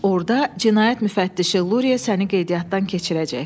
Orda cinayət müfəttişi Luria səni qeydiyyatdan keçirəcək.